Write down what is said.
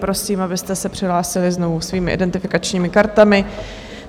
Prosím, abyste se přihlásili znovu svými identifikačními kartami.